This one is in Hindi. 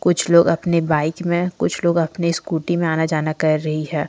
कुछ लोग अपने बाइक में कुछ लोग अपने स्कूटी में आना जाना कर रही है।